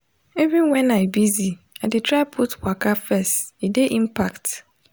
even when i busy i dey try put waka first e dey impact.